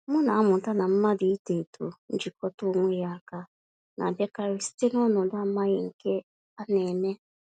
M na-amụta na mmadụ ito-eto njikọta onwe ya áká, na-abịakarị site n'ọnọdụ amaghị nke a némè'.